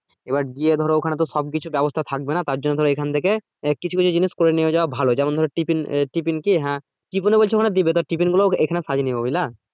এবার গিয়ে ধরো ওখানে তো সবকিছু ব্যাবস্থা থাকবে না তার জন্য ধরো এখান থেকে কিছু কিছু জিনিস করে নিয়ে যাওয়া ভালো যেমন ধরো টিফিন কি হ্যা টিফিনও বলছো ওখানে দিবে তো টিফিন গুলা এখানে সাজিয়ে নিও বুঝলা